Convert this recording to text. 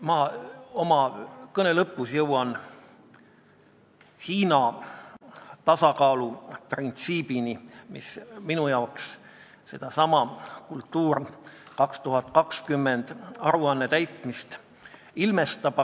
Ma oma kõne lõpus jõuan Hiina tasakaaluprintsiibini, mis minu jaoks sedasama "Kultuuripoliitika põhialused aastani 2020" aruannet ilmestab.